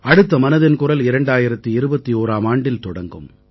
அடுத்த மனதின் குரல் 2021ஆம் ஆண்டில் தொடங்கும்